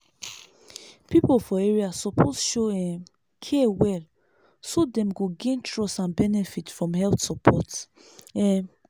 people for area suppose show um care well so dem go gain trust and benefit from health support. um